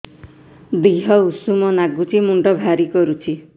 ଦିହ ଉଷୁମ ନାଗୁଚି ମୁଣ୍ଡ ଭାରି କରୁଚି